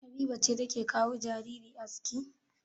Habiba ce take wa jariri aski?